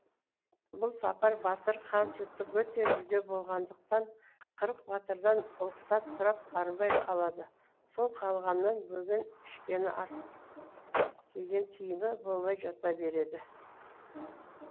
бұл сапар батыр қан жұтып өте жүдеу болғандықтан қырық батырдан ұлықсат сұрап бармай қалады сол қалғаннан бөген ішкені ас кигені киім болмай жата береді